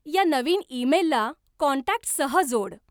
या नवीन ईमेलला कॉन्टॅक्टससह जोड